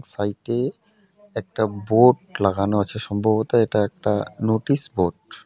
সাইডে একটা বোর্ড লাগানো আছে সম্ভবত এটা একটা নোটিশ বোর্ড .